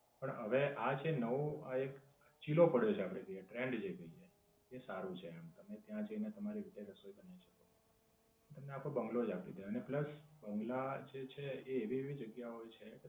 પણ હવે આ જે નવો આ એક ચીલો પડ્યો છે કે the trend જે કહીયે એ સારું છે આમ. તમે ત્યાં તમારી રીતે રસોઈ બનાઈ શકો. તમને આખો બઁગલો જ આપી દે અને plus બઁગલા જે છે એ ભી એવી જગ્યા હોય છે